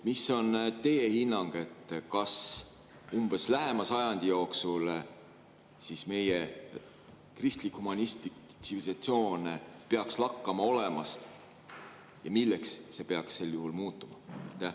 Mis on teie hinnang, kas lähema sajandi jooksul meie kristlik-humanistlik tsivilisatsioon peaks lakkama olemast ja milleks see peaks sel juhul muutuma?